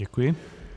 Děkuji.